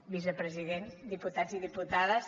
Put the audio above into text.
vicepresident diputats i diputades